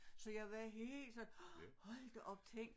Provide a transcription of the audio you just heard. Så jeg var helt sådan hold da op tænk